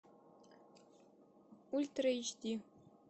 ультра эйч ди